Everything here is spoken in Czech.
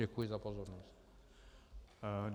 Děkuji za pozornost.